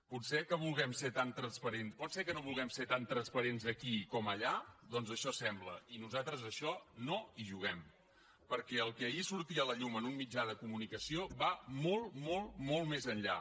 pot ser que no vulguem ser tan transparents aquí com allà doncs això sembla i nosaltres a això no hi juguem perquè el que ahir sortia a la llum en un mitjà de comunicació va molt molt molt més enllà